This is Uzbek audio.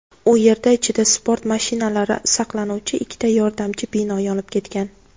U yerda ichida sport mashinalari saqlanuvchi ikkita yordamchi bino yonib ketgan.